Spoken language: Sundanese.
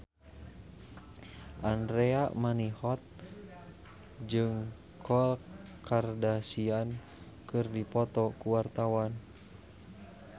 Andra Manihot jeung Khloe Kardashian keur dipoto ku wartawan